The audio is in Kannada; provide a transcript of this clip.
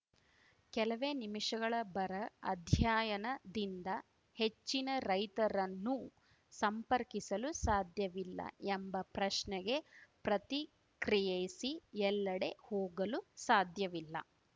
ಕೆಲವೇ ನಿಮಿಷಗಳ ಬರ ಅಧ್ಯಯಾಯನದಿಂದ ಹೆಚ್ಚಿನ ರೈತರನ್ನು ಸಂಪರ್ಕಿಸಲು ಸಾಧ್ಯವಿಲ್ಲ ಎಂಬ ಪ್ರಶ್ನೆಗೆ ಪ್ರತಿಕ್ರಿಯ್ಯಯಿಸಿ ಎಲ್ಲೆಡೆ ಹೋಗಲು ಸಾಧ್ಯವಿಲ್ಲ